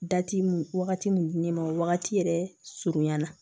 Dati mun wagati min di ne ma wagati yɛrɛ surunya na